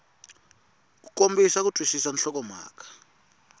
ku kombisa ku twisisa nhlokomhaka